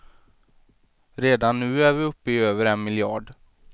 Redan nu är vi uppe i över en miljard.